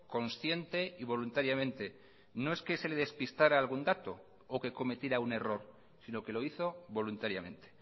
consciente y voluntariamente no es que se le despistara algún dato o que cometiera un error sino que lo hizo voluntariamente